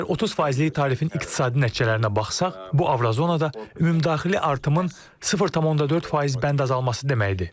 Əgər 30 faizli tarifin iqtisadi nəticələrinə baxsaq, bu Avrozonda ümumdaxili artımın 0,4 faiz bənd azalması deməkdir.